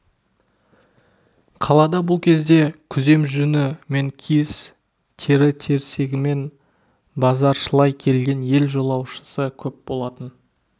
қалада бұл кезде күзем жүні мен киіз тері-терсегімен базаршылай келген ел жолаушысы көп болатын